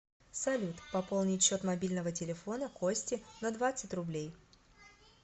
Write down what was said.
салют пополнить счет мобильного телефона кости на двадцать рублей